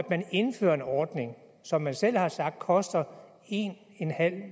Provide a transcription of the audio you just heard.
man indfører en ordning som man selv har sagt koster en